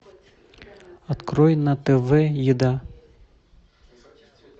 открой на тв еда